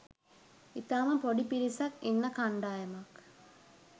ඉතාම පොඩි පිරිසක් ඉන්න කණ්ඩායමක්